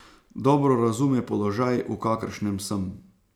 Dobro razume položaj, v kakršnem sem.